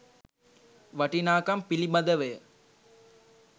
වටිනාකම් පිළිබඳවය.